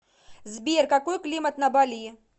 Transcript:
сбер какой климат на бали